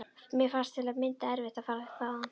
Mér fannst til að mynda erfitt að fara þaðan.